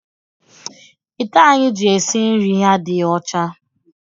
Ite anyị ji esi nri adịghị ọcha.